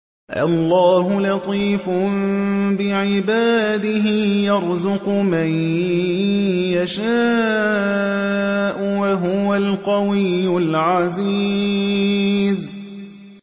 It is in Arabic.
اللَّهُ لَطِيفٌ بِعِبَادِهِ يَرْزُقُ مَن يَشَاءُ ۖ وَهُوَ الْقَوِيُّ الْعَزِيزُ